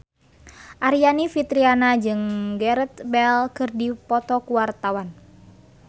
Aryani Fitriana jeung Gareth Bale keur dipoto ku wartawan